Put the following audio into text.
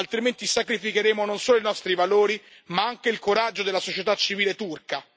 Altrimenti sacrifichiamo non solo i nostri valori, ma anche il coraggio della società civile turca.